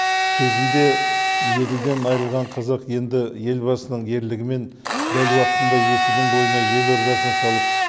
кезінде еділден айырылған қазақ енді елбасының ерлігімен дәл уақытында есілдің бойына елордасын салып